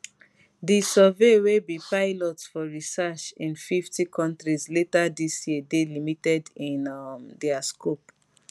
di survey wey be pilot for research in 50 countries later dis year dey limited in um dia scope